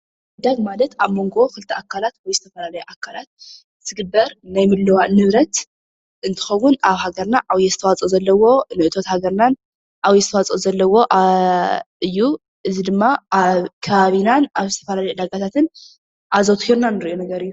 ምዕዳግ ማለት ኣብ መንጎ ክልተ ኣካላት ወይ ዝተፈላለዩ ኣካላት ዝግበር ናይ ምልዉዋጥ ንብረት እንትኸዉን ኣብ ሃገርና ዓብዪ ኣስተዋፅኦ ዘለዎ ንእቶት ሃገርናን ዓብዪ ኣስተዋፅኦ ዘለዎ እዩ፡፡ እዚ ድማ ኣብ ከባቢናን ኣብ ዝተፈላለዩ ዕዳጋታትን ኣዘዉቲርና ንሪኦ ነገር እዩ፡፡